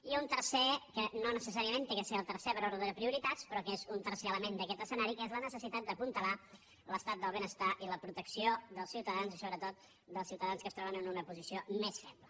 i un tercer que no necessàriament ha de ser el tercer per ordre de prioritats però que és un tercer element d’aquest escenari que és la necessitat d’apuntalar l’estat del benestar i la protecció dels ciutadans i sobretot dels ciutadans que es troben en una posició més feble